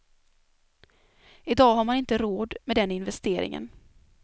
Idag har man inte råd med den investeringen.